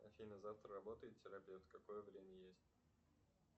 афина завтра работает терапевт какое время есть